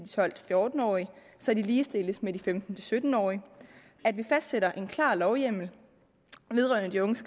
tolv til fjorten årige så de ligestilles med de femten til sytten årige at vi fastsætter en klar lovhjemmel vedrørende de unges